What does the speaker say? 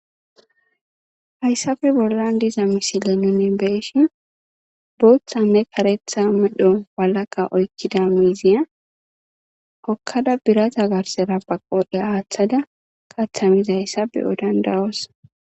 hayssafe bollan diza misile nune beeshin booththanne karetha medho walaqa oykkida miiziya okkada biraza garsera baqodhe aaththada kathamizayssa beyo dandayoos